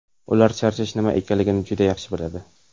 Ular charchash nima ekanini juda yaxshi biladi.